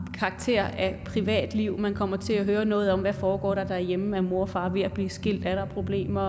karakter af privatliv man kommer til at høre noget om hvad der foregår derhjemme er mor og far ved at blive skilt er der problemer